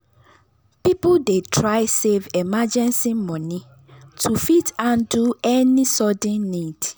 people dey try save emergency money to fit handle any sudden need.